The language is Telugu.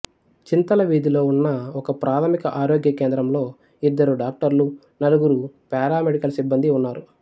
చింతల వీధిలో ఉన్న ఒకప్రాథమిక ఆరోగ్య కేంద్రంలో ఇద్దరు డాక్టర్లు నలుగురు పారామెడికల్ సిబ్బందీ ఉన్నారు